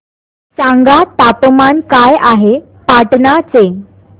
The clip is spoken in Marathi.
सांगा तापमान काय आहे पाटणा चे